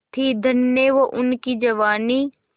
थी धन्य वो उनकी जवानी